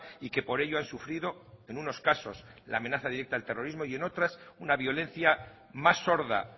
y que por ello han sufrido en unos casos la amenaza directa del terrorismo y en otras una violencia más sorda